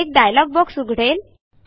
एक dialog box उघडेल